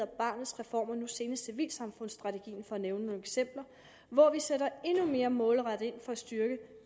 barnets reform og nu senest civilsamfundsstrategien for at nævne nogle eksempler hvor vi sætter endnu mere målrettet ind for at styrke